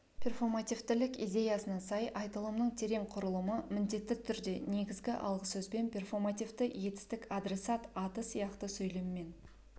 перфомотивтілік идеясына сай айтылымның терең құрылымы міндетті түрде негізгі алғы сөзбен мен перфомотивті етістік адресат аты сияқты сөйлеммен